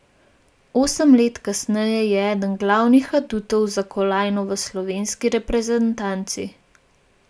Osem let kasneje je eden glavnih adutov za kolajno v slovenski reprezentanci.